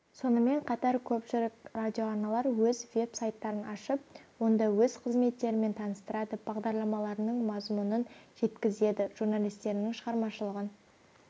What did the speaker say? сонымен қатар көпшілік радиоарналар өз веб-сайттарын ашып онда өз қызметтерімен таныстырады бағдарламаларының мазмұнын жеткізеді журналистерінің шығармашылығын